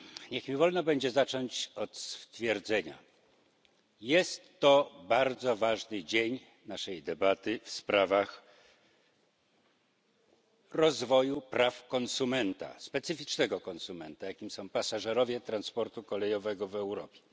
Niech mi będzie wolno zacząć od stwierdzenia jest to bardzo ważny dzień naszej debaty w sprawie rozwoju praw konsumenta, specyficznego konsumenta, jakim są pasażerowie transportu kolejowego w Europie.